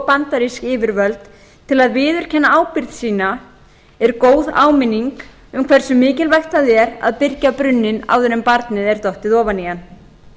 bandarísk yfirvöld til að viðurkenna ábyrgð sína er góð áminning um hversu mikilvægt það er að byrgja brunninn áður en barnið er dottið ofan í hann